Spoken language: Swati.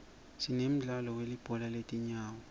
sinemdlalo welibhola letinyawo